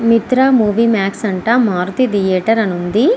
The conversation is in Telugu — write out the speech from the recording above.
మిత్ర మూవీ మాక్స్ అంట మారుతి థియేటర్ అని ఉంది.